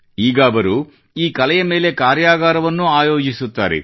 ಈಗ ಅವರು ಈ ಕಲೆಯ ಮೇಲೆ ಕಾರ್ಯಾಗಾರವನ್ನೂ ಆಯೋಜಿಸುತ್ತಾರೆ